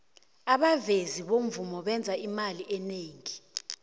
abavezi bomvumi benza imali enengi